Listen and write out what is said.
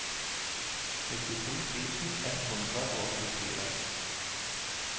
nittito tusen ett hundre og åttifire